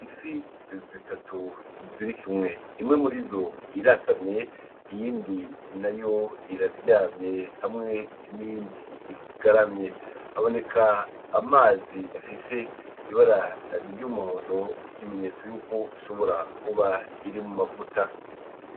Ifi zitatu zirikumwe imwe murizo irasamye iyindi nayo iraryamye hamwe n'iyindi igaramye haboneka amazi afise ibara ry'umuhondo nk'ikimenyetso yuko ishobora kuba iri mu mavuta.